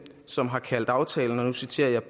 som har kaldt aftalen og nu citerer